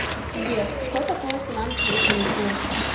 сбер что такое финансовые каникулы